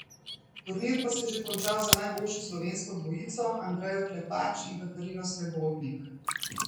Turnir pa se je že končal za najboljšo slovensko dvojico, Andrejo Klepač in Katarino Srebotnik.